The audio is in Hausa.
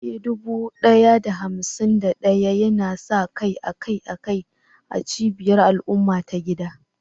Eh, dubu ɗaya da hamsin da ɗaya yana sa kai akai-akai a cibiyar al'umma ta gida.